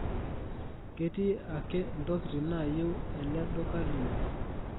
keeti ake ntokitin nayieu ele duka lino